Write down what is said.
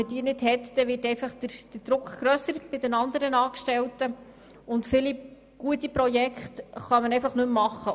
Ohne diese würde der Druck bei den anderen Angestellten höher, und viele gute Projekte könnten nicht mehr realisiert werden.